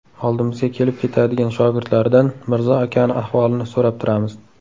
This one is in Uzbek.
Oldimizga kelib ketadigan shogirdlaridan Mirzo akani ahvolini so‘rab turamiz.